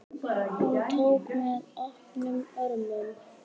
Hún tók mér opnum örmum.